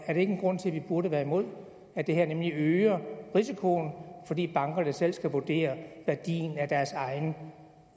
er det ikke en grund til at vi burde være imod at det her øger risikoen fordi bankerne selv skal vurdere værdien af deres egne